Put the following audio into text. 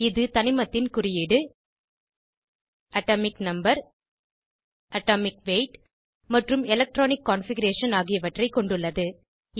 இது தனிமத்தின் குறியீடு அட்டோமிக் நம்பர் அட்டோமிக் வெய்த் மற்றும் எலக்ட்ரானிக் கான்ஃபிகரேஷன் ஆகியவற்றை கொண்டுள்ளது